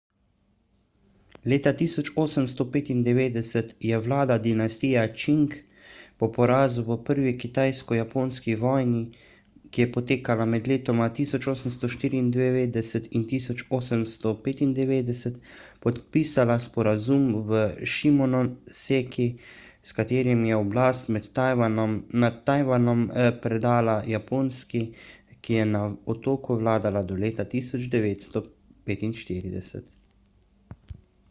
leta 1895 je vlada dinastije čing po porazu v prvi kitajsko-japonski vojni 1894–1895 podpisala sporazum v šimonoseki s katerim je oblast nad tajvanom predala japonski ki je na otoku vladala do leta 1945